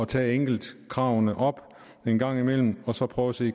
tage enkeltkravene op en gang imellem og så prøve at se